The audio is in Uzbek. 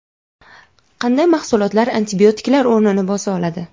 Qanday mahsulotlar antibiotiklar o‘rnini bosa oladi?.